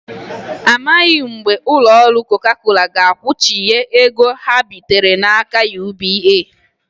Amaghị mgbe ụlọ ọrụ Coca Cola ga-akwụghachi ego ha bitere n'aka UBA.